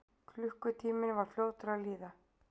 Klukkutíminn var því fljótur að líða.